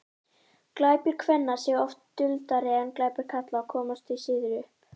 glæpir kvenna séu oft duldari en glæpir karla og komast því síður upp